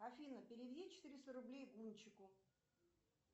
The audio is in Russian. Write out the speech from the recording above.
афина переведи четыреста рублей гунчику